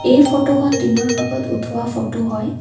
এই ফটো খন দিনৰ ভাগত উঠোৱা ফটো হয়।